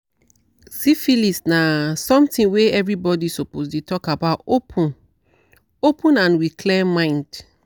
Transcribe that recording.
siphilis na something were every body suppose dey talk about open-open and with clear mind